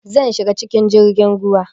Zan shiga cikin jirgin ruwa